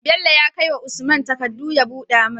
Bello ya kai wa usman takadu ya buda mai